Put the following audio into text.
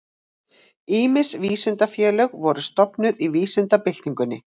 Ýmis vísindafélög voru stofnuð í vísindabyltingunni.